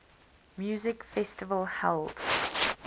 music festival held